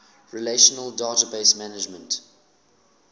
relational database management